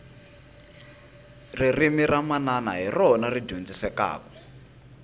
ririmi ra manana hi rona ri dyondzekaku